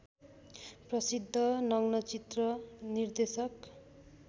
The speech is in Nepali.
प्रसिद्ध नग्नचित्र निर्देशक